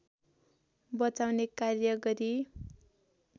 बचाउने कार्य गरी